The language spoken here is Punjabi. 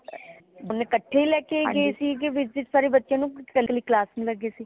ਮਤਲਬ ਕੱਠੇ ਹੀ ਲੈਕੇ ਗਏ ਸੀ ਕਿ ਇੱਕ ਇੱਕ ਵਾਰੀ ਬੱਚੇ ਨੂੰ ਕਿ ਕਲੀ class ਨੂ ਲੈ ਗਏ ਸੀ